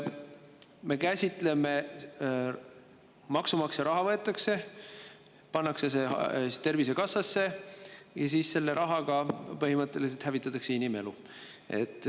Võetakse maksumaksja raha, antakse see Tervisekassale ja siis selle rahaga põhimõtteliselt hävitatakse inimelu.